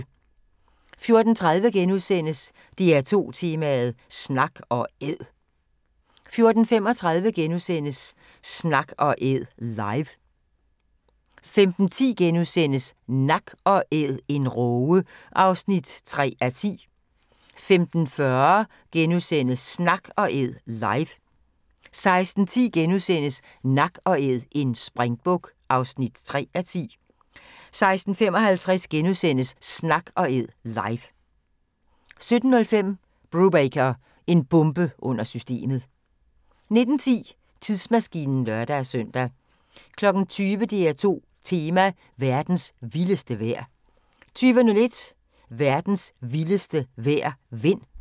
14:30: DR2 Tema: Snak & Æd * 14:35: Snak & Æd – live * 15:10: Nak & æd - en råge (3:10)* 15:40: Snak & Æd – live * 16:10: Nak & Æd – en springbuk (3:10)* 16:55: Snak & Æd – live * 17:05: Brubaker – en bombe under systemet 19:10: Tidsmaskinen (lør-søn) 20:00: DR2 Tema: Verdens vildeste vejr 20:01: Verdens vildeste vejr – vind